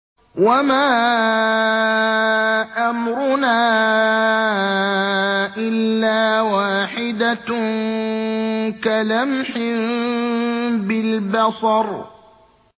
وَمَا أَمْرُنَا إِلَّا وَاحِدَةٌ كَلَمْحٍ بِالْبَصَرِ